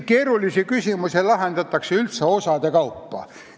Keerulisi küsimusi lahendatakse üldse osade kaupa.